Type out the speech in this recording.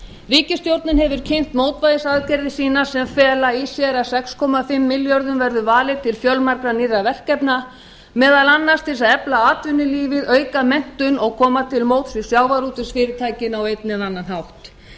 ríkisstjórnin hefur kynnt mótvægisaðgerðir sínar sem fela í sér að sex komma fimm milljörðum verður varið til fjölmargra nýrra verkefna meðal annars til þess að efla atvinnulífið auka menntun og koma til móts við sjávarútvegsfyrirtækin á einn eða annan hátt